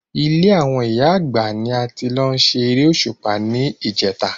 Ilé àwọn ìyá Àgbà ni a ti lọ ṣe eré Òṣùpá ní ìjèta